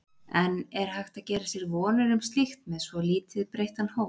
En er hægt að gera sér vonir um slíkt með svo lítið breyttan hóp?